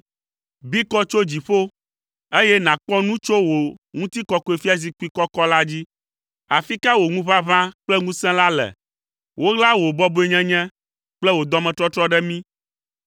Bi kɔ tso dziƒo, eye nàkpɔ nu tso wò ŋutikɔkɔefiazikpui kɔkɔ la dzi. Afi ka wò ŋuʋaʋã kple ŋusẽ la le? Woɣla wò bɔbɔenyenye kple wò dɔmetɔtrɔ ɖe mí,